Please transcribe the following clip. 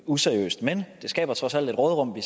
useriøst men det skaber trods alt et råderum